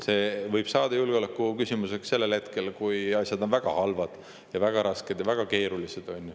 See võib saada julgeolekuküsimuseks ajal, kui asjad on väga halvad, väga rasked ja väga keerulised.